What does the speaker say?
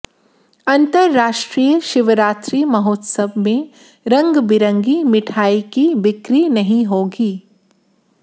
अंतरराष्ट्रीय शिवरात्रि महोत्सव में रंग बिरंगी मिठाई की बिक्री नहीं होगी